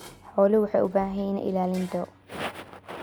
Xooluhu waxay u baahan yihiin ilaalin dhow.